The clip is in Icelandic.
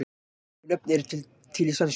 Svipuð nöfn eru til í sænsku.